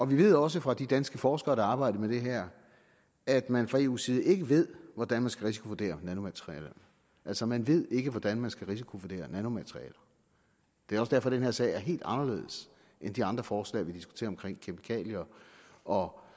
vi ved også fra de danske forskere som arbejder med det her at man fra eu’s side ikke ved hvordan man skal risikovurdere nanomaterialer altså man ved ikke hvordan man skal risikovurdere nanomaterialer det er også derfor den her sag er helt anderledes end de andre forslag vi diskuterer om